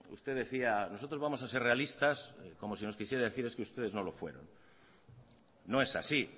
usted decía nosotros vamos a ser realistas como si nos quisiera decir es que ustedes no lo fueron no es así